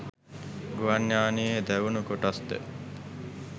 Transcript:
ගුවන් යානයේ දැවුණු කොටස්ද